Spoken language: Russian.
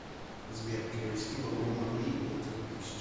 сбер перевести бабло марии полторы тысячи